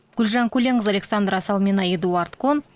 гүлжан көленқызы александра салмина эдуард кон